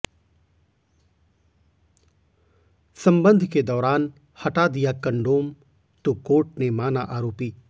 संबंध के दौरान हटा दिया कंडोम तो कोर्ट ने माना आरोपी